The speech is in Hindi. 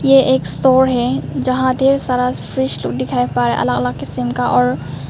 ये एक स्टोर है जहां ढेर सारा फ्रिज लोग दिखाई पर अलग अलग किसीम का और--